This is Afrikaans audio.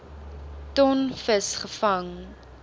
ton vis gevang